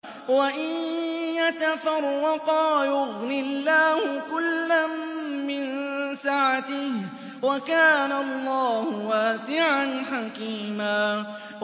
وَإِن يَتَفَرَّقَا يُغْنِ اللَّهُ كُلًّا مِّن سَعَتِهِ ۚ وَكَانَ اللَّهُ وَاسِعًا حَكِيمًا